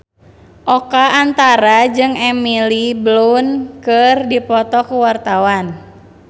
Oka Antara jeung Emily Blunt keur dipoto ku wartawan